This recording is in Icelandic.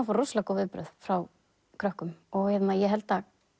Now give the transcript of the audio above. fá rosalega góð viðbrögð frá krökkum ég held